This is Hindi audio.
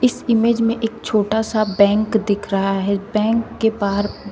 इस इमेज में एक छोटा सा बैंक दिख रहा है बैंक के बाहर--